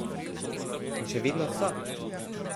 In še vedno so.